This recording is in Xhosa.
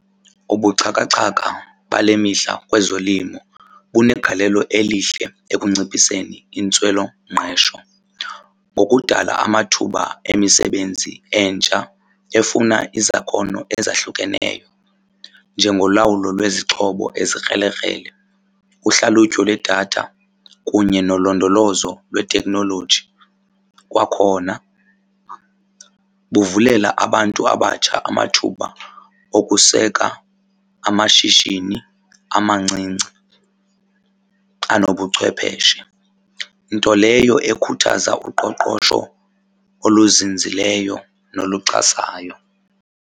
Ubuxhakaxhaka bale mihla kwezolimo kunegalelo elihle ekunciphiseni intswelongqesho ngokudala amathuba emisebenzi entsha efuna izakhono ezahlukeneyo njengolawulo lwezixhobo ezikrelekrele, uhlalutyo lwedatha kunye nolondolozo lweteknoloji. Kwakhona buvulela abantu abatsha amathuba okuseka amashishini amancinci anobuchwepheshe. Nto leyo ekhuthaza uqoqosho oluzinzileyo noluxhasayo.